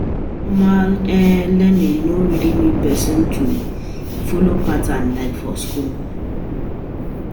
Informal learning no really need person to follow pattern like for school